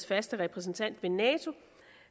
faste repræsentant ved nato